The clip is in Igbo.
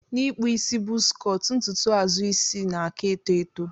Na ikpụ isi buzz cọt ntụtụ azụ isi nna aka eto eto.